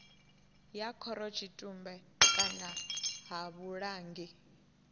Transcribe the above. ya khorotshitumbe kana ha vhulangi